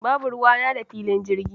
Babu ruwana da filin jirgi.